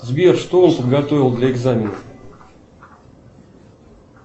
сбер что он подготовил для экзаменов